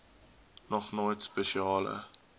nog nooit spesiale